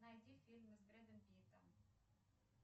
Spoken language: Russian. найди фильмы с брэдом питтом